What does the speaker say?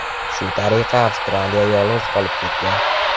Shu tariqa avstraliyalik yolg‘iz qolib ketgan.